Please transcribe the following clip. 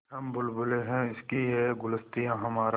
हम बुलबुलें हैं इसकी यह गुलसिताँ हमारा